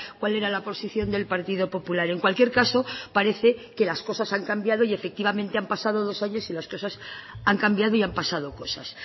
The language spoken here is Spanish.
cuál era la posición del partido popular en cualquier caso parece que las cosas han cambiado y efectivamente han pasado dos años y las cosas han cambiado y han pasado cosas